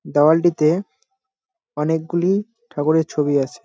দেয়ালটিতে অনেকগুলি ঠাকুরের ছবি আছে ।